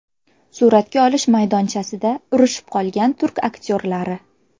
Suratga olish maydonchasida urishib qolgan turk aktyorlari .